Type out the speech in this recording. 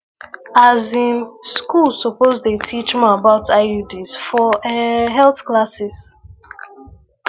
as in schools supposed dey teach more about iuds for eh health classes